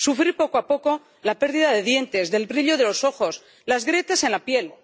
sufrir, poco a poco, la pérdida de dientes, el brillo de los ojos, las grietas en la piel